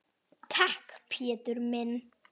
Takk, Pétur minn.